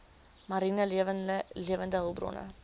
mariene lewende hulpbronne